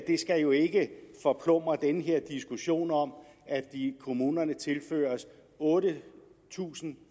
skal jo ikke forplumre den her diskussion om at kommunerne tilføres otte tusind